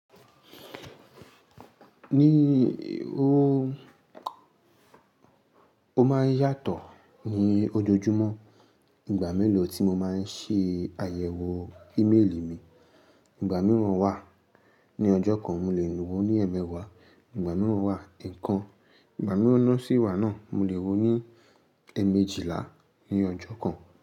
Ní o, ó máa ń yàtọ̀ ní ojoojúmọ́. Ìgbà mélòó tí mo máa ń ṣe àyẹ̀wò íméèlì mi, ìgbà míràn wà ní ọjọ́ kan mo lè nu wo ní eemewaa, ìgbà míràn wà e kan ìgbà míràn sí ìwà náà mo lè wo ní eemejila ní ọjọ́ kan.